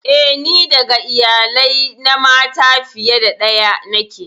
Eh, ni ɗaga iyalai na mata fiye da daya niƙe.